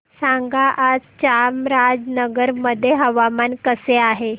सांगा आज चामराजनगर मध्ये हवामान कसे आहे